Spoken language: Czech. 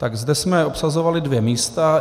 Tak zde jsme obsazovali dvě místa.